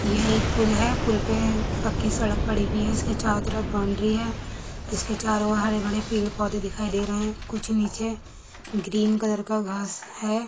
ये एक पुल है पुल पे पक्की सड़क पड़ी हुई है । इसके चारो तरफ बाउण्ड्री है। इसके चारो और हरे भरे पेड़ -पौधे दिखाई दे रहे हैं कुछ नीचे ग्रीन कलर का घास है।